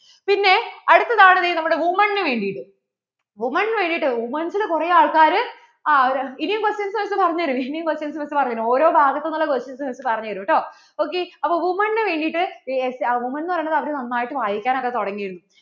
women നു വേണ്ടിട്ട് women നു വേണ്ടിട്ട് women's നു കുറേ ആള്‍ക്കാര് ആ ഇനിയും questionsMiss പറഞ്ഞു തരും ഇനിയും questionsMiss പറഞ്ഞു തരും, ഓരോ ഭാഗത്തു ഉള്ള questionsMiss പറഞ്ഞു തരും ട്ടോ ok അപ്പോൾ women നു വേണ്ടിട്ട് women ന്ന് പറയുന്നത് അവർ നന്നായിട്ട് വായിക്കാൻ ഒക്കെ തുടങ്ങിരുന്നു